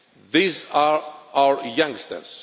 These are our youngsters.